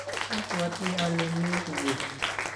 abwoti ale mekukiy